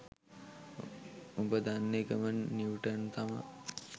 උබ දන්න එකම නිව්ටන් තමා